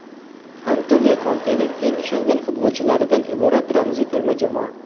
Antonio Kontening eng ishongan futbolchilaridan iborat ramziy terma jamoa.